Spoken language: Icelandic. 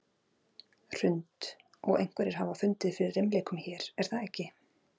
Hrund: Og einhverjir hafa fundið fyrir reimleikum hér, er það ekki?